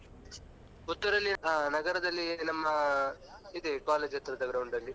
Puttur ಲ್ಲಿ ಆ ನಗರದಲ್ಲಿ ನಮ್ಮ ಇದೆ college ಹತ್ರದ ground ಅಲ್ಲಿ.